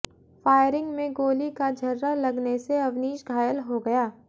firing में गोली का छर्रा लगने से अवनीश घायल हो गया